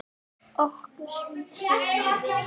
Okkur semur vel